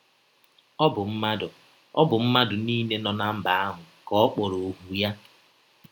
Ọ bụ mmadụ Ọ bụ mmadụ niile nọ ná mba ahụ ka ọ kpọrọ ọhụ ya.